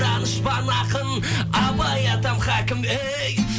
данышпан ақын абай атам хәкім ей